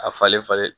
A falen falen